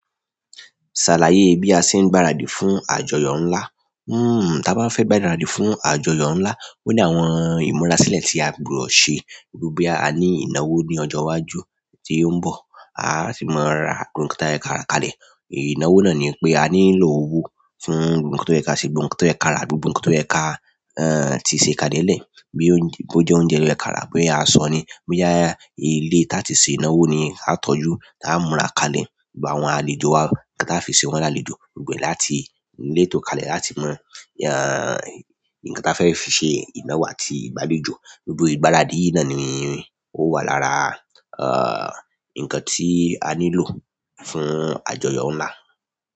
Ṣàlàyé bí a ṣe ń gbaradì fún àjọyọ̀ ńlá. Tí a bá fẹ́ gbaradì fún àjọyọ̀ ńlá, ó ní àwọn ìmúra sílẹ̀ tí a gbọdọ̀ ṣe. Bí boya aní ìnáwó ní ọjọ́ iwájú tó ń bọ̀, a á sì máa ra ohun ikan tó yẹ ká ra kalẹ̀. Ìnáwó náà ni pé a nílò owó fún gbo gbo nkan tó yẹ ká ṣe, gbogbo tó yẹ ká rà, gbogbo ikan tó yẹ ká ti ṣe ká dé lè. Bí ó jẹ́ oúnjẹ ló yẹ ká rà, bí a sọ ni, boya ilé tí a ti ṣe ìnáwó ni a tọ́jú, tí a múra kalẹ̀. Gbogbo àwọn àlejò wa, nkan taa fi ṣe wọ́n lálejò, gbogbo e láti ni letó kalẹ̀ láti mo nkan tí a fẹ́ fi ṣe ìnáwó àti ìgbàlejò. Gbogbo ìgbáradì yìí náà ni ó wà lára nkan tí a nílò fún àjọyọ̀ ńlá.